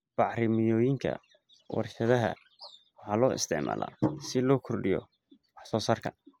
Bacrimiyooyinka warshadaha waxaa loo isticmaalaa si loo kordhiyo waxsoosaarka.